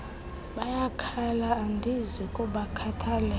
bayakhala andizi kubakhathalela